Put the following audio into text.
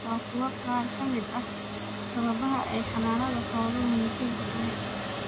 Waa kuwan qaar ka mid ah sababaha ay xannaanada xooluhu muhiim u tahay: